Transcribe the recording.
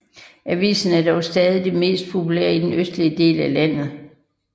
Avisen er dog stadig den mest populære i den østlige del af landet